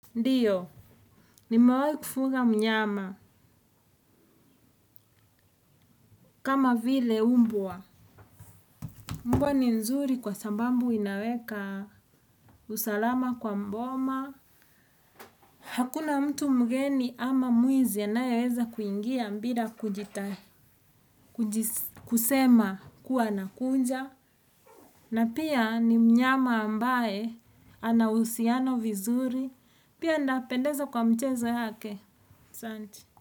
Ndiyo, nimewahi kufuga mnyama, kama vile umbwa. Mbwa ni mzuri kwa sababu inaweka usalama kwa boma. Hakuna mtu mgeni ama mwizi anayeweza kuingia bila kusema kuwa anakuja. Na pia ni mnyama ambaye ana husiano vizuri. Pia ana pendeza kwa mchezo yake, asanti.